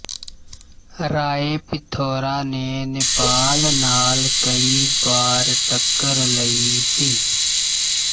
ਰਾਏ ਪਿਥੌਰਾ ਨੇ ਨੇਪਾਲ ਨਾਲ ਕਈ ਵਾਰ ਟੱਕਰ ਲਈ ਸੀ